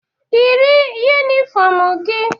Yiri yunifọmụ gi!